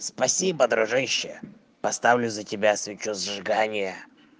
спасибо дружище я поставлю за тебя свечу зажигания